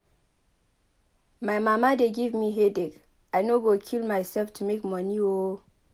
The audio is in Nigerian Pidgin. My mama dey give me headache. I no go kill myself to make money oo